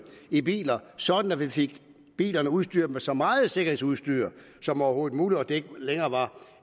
i biler sådan at man fik bilerne udstyret med så meget sikkerhedsudstyr som overhovedet muligt så det ikke længere var